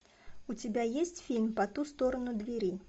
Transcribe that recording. у тебя есть фильм по ту сторону двери